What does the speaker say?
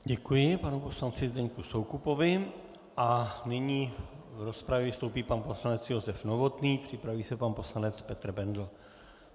Děkuji panu poslanci Zdeňku Soukupovi a nyní v rozpravě vystoupí pan poslanec Josef Novotný, připraví se pan poslanec Petr Bendl.